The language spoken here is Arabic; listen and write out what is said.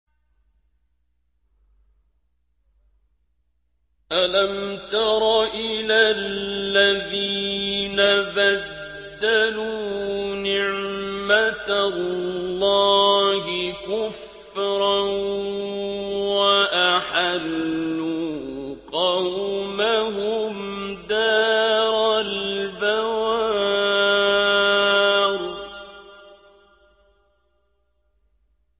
۞ أَلَمْ تَرَ إِلَى الَّذِينَ بَدَّلُوا نِعْمَتَ اللَّهِ كُفْرًا وَأَحَلُّوا قَوْمَهُمْ دَارَ الْبَوَارِ